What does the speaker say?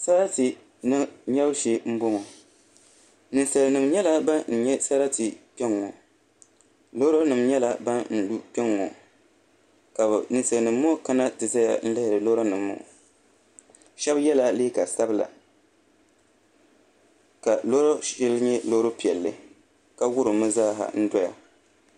Sarati nyɛbu shee n bɔŋɔ ninsal nim nyɛla ban nyɛ sarati kpɛŋŋɔ loori nim nyɛla ban lu kpɛŋŋo ka ninsal nim ŋɔ kana ti ʒɛya n lihiri lora nim ŋɔ shab yɛla liiga sabila ka loori shɛli nyɛ loori piɛlli ka wurimmi zaa n doya